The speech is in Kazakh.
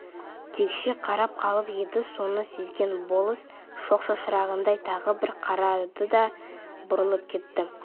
тікшие қарап қалып еді соны сезген болыс шоқ шашырағандай тағы бір қарады да бұрылып кетті